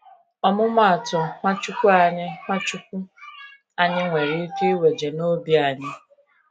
ọmụmụ atụ Nwachukwu anyị Nwachukwu anyị nwere ike iweje n'obi anyị?